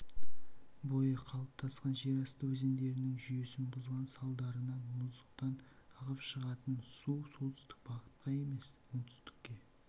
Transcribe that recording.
бойы қалыптасқан жерасты өзендерінің жүйесін бұзған салдарынан мұздықтан ағып шығатын су солтүстік бағытқа емес оңтүстікке